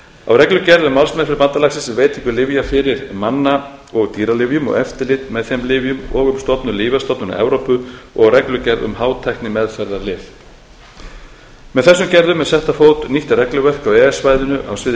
á reglugerð um málsmeðferð bandalagsins um veitingu lyfja fyrir manna og dýralyfjum og eftirlit með þeim lyfjum og um stofnun lyfjastofnunar evrópu og á reglugerð um hátæknimeðferðarlyf með þessum gerðum er sett á fót nýtt regluverk á e e s svæðinu á sviði